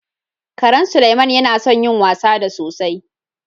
Karan Suleiman yana son yin wasa da sosai